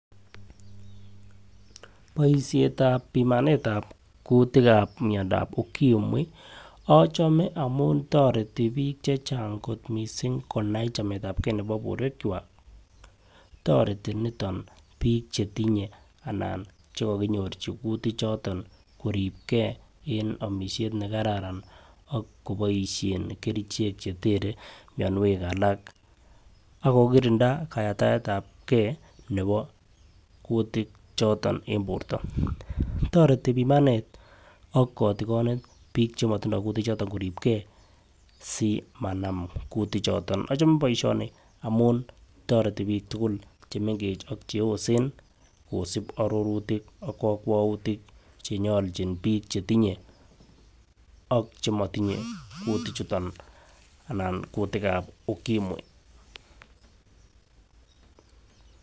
Boishetab pimanetab kutik ab miondap Ukimwi ochome amun torati bik chechang konai chametabgee nebo borwek kwak. Toreti niton bik chetinye ana chekokinyorchi kutik chuton koribgee en omishet nekararan ak koboishen kerichek chetere mionwek alak ak kokirinda kayaktaetabgee nebo kutik choton en borto. Toreti pimanet ak kotikonet bik chemotindo kutik choton koribgee simanam kutik choton. Ochome boishoni amun toreti bik tukul chemengech ak cheyosen kosib ororutik ak kokwoutik chenyoljin bik chetinye ak chemotinye kutik chuton anan kutikab ukimwi